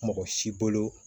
Mɔgɔ si bolo